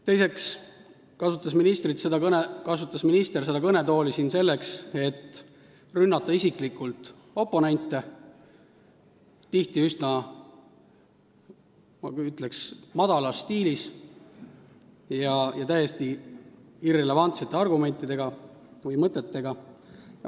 Teiseks kasutas minister seda kõnetooli siin selleks, et rünnata isiklikult oponente, tihti üsna, ütleksin, madalas stiilis ja täiesti irrelevantsete argumentide või võtetega.